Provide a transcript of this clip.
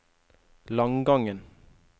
Langangen